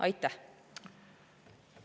Aitäh!